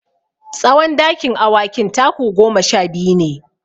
Tsawon dakin awakin taku goma sha biyu ne.